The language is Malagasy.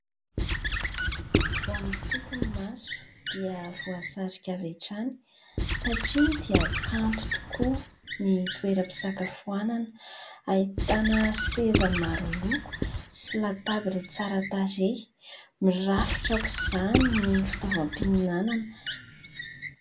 Vao mitompy ny maso dia voasarika avy hatrany satria dia kanto tokoa ny toeram-pisakafoanana. Ahitana seza maro loko sy latabatra tsara tarehy. Mirafitra aok'izany ny fitaovam-pihinanana.